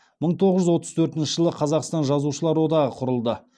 мың тоғыз жүз отыз төртінші жылы қазақстан жазушылар одағы құрылды